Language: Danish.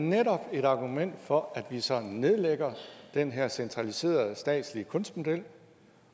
netop et argument for at vi så nedlægger den her centraliserede statslige kunstmodel